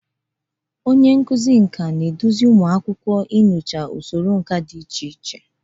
Onye nkuzi nka na-eduzi ụmụ akwụkwọ inyocha usoro nka dị iche iche.